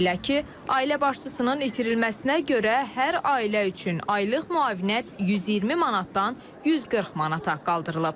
Beləliklə, ailə başçısının itirilməsinə görə hər ailə üçün aylıq müavinət 120 manatdan 140 manata qaldırılıb.